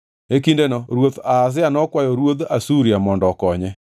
E kindeno ruoth Ahaz nokwayo ruodh Asuria mondo okonye.